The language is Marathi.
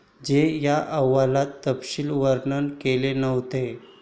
जी या अहवालात तपशील वर्णन केले नव्हते.